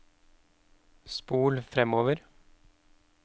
spol framover